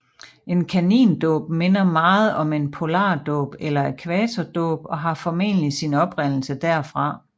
En kanindåb minder meget om en polardåb eller ækvatordåb og har formentlig sin oprindelse derfra